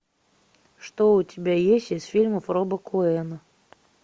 что у тебя есть из фильмов роба коэна